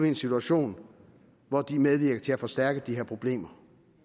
en situation hvor de medvirker til at forstærke de her problemer